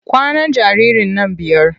Kwanan jaririn nan biyar.